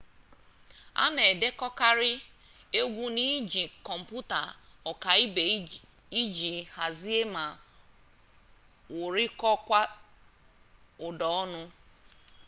a na-edekọkarị egwu n'iji kọmputa ọkaibe iji hazie ma wụrikọta ụda ọnụ